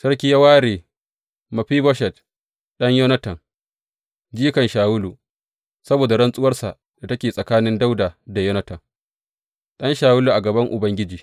Sarki ya ware Mefiboshet ɗan Yonatan jikan Shawulu, saboda rantsuwar da take tsakanin Dawuda da Yonatan, ɗan Shawulu a gaban Ubangiji.